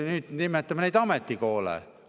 Nüüd nimetame neid ametikoolideks.